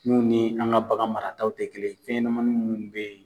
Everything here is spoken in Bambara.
Mun ni an ka bagan marataw tɛ kelen fɛnɲanamanin minnu bɛ ye